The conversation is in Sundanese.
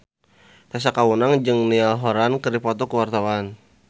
Tessa Kaunang jeung Niall Horran keur dipoto ku wartawan